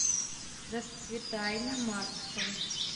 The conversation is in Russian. расцветай на маркса